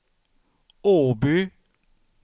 Åby